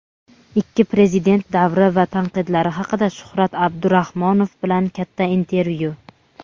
ikki prezident davri va tanqidlar haqida - Shuhrat Abdurahmonov bilan katta intervyu.